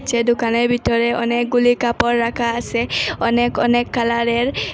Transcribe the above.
সে দোকানের ভিতরে অনেকগুলি কাপড় রাখা আসে অনেক অনেক কালারের।